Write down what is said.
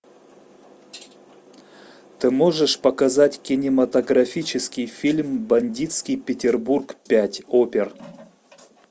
ты можешь показать кинематографический фильм бандитский петербург пять опер